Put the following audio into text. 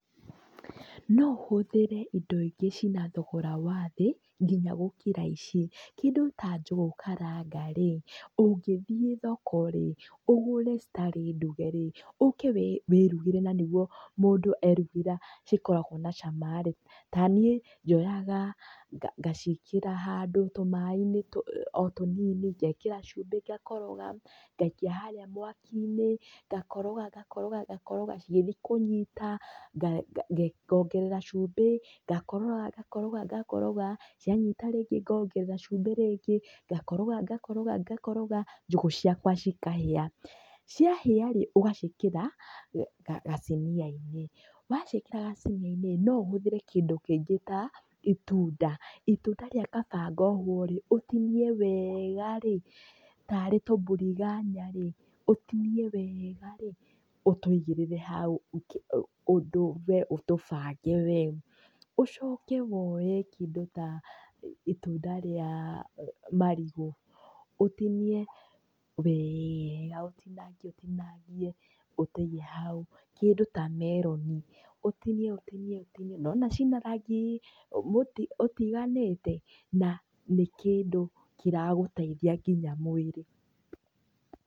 No ũhũthĩre indo ingĩ cina thogora wa thĩ, nginya gũkĩra ici. Kĩndũ ta njũgũ karanga rĩ, ũngĩthiĩ thoko rĩ, ũgũre citarĩ nduge rĩ, ũũke wĩrugĩre na nĩguo mũndũ erugĩra cikoragwo na cama rĩ. Ta niĩ njoyaga ngaciĩkĩra handũ tũmaĩ-inĩ o tũnini, ngekĩra cumbĩ ngakoroga, ngaikia harĩ mwaki-inĩ, ngakoroga ngakoroga ngakoroga, cigĩthiĩ kũnyita, ngongerera cumbĩ, ngakoroga ngakoroga ngakoroga, cianyita rĩngĩ ngongerera cumbĩ rĩngĩ, ngakoroga ngakoroga ngakoroga, njũgũ ciakwa cikahĩa. Ciahĩa rĩ, ũgaciĩkĩra gacinia-inĩ. Waciĩkĩra gacinia-inĩ, no ũhũthĩre kĩndũ kĩngĩ ta gĩtunda. Itunda rĩa kababgoho rĩ, ũtinie wega rĩ, tarĩ tumbiringanya rĩ, ũtinie wega rĩ, ũtũigĩrĩre hau, ũndũ we ũtũbange wega. Ũcoke woye kĩndũ ta itunda rĩa marigũ, ũtinie wega ũtinangie ũtinangie ũtũige hau. Kĩndũ ta meroni, ũtinie ũtinie. Nĩwona cina rangi ũtiganĩte? Na nĩ kĩndũ kĩragũteithia nginya mwĩrĩ.